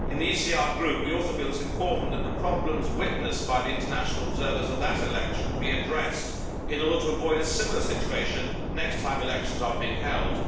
In the ECR Group we also feel it is important that the problems witnessed by the international observers of that election be addressed in order to avoid a similar situation next time elections are held.